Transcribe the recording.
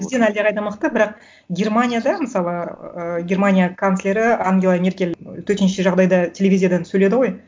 бізден әлдеқайда мықты бірақ германияда мысалы ыыы германия канцлері ангела меркель төтенше жағдайда телевизиядан сөйледі ғой